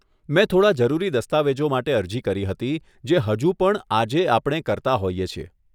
મેં થોડાં જરૂરી દસ્તાવેજો માટે અરજી કરી હતી, જે હજુ પણ આજે આપણે કરતા હોઈએ છીએ.